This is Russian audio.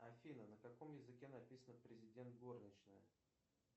афина на каком языке написано президент горничная